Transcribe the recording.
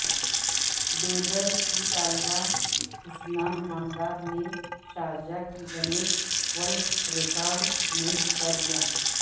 بےدر کی طالبہ حسنہ انعامدار نے شارجہ کے گنیش ورلڈ رےکارڈ مےںحصہ لےا